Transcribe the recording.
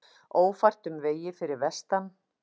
Ófært um vegi fyrir vestan